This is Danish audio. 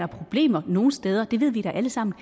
problemer nogle steder det ved vi da alle sammen